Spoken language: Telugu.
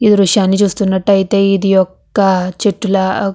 ఈ దృశ్యాన్ని చూస్తున్నట్టయితే ఇది యొక్క చెట్టులా --